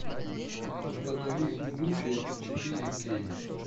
установи удушье четыре кей